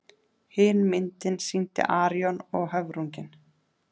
Hin myndin sýndi Arion og höfrunginn.